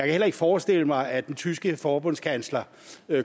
heller ikke forestille mig at den tyske forbundskansler